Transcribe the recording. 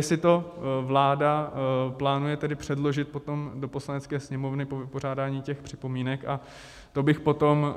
Jestli to vláda plánuje tedy předložit potom do Poslanecké sněmovny, po vypořádání těch připomínek, a to bych potom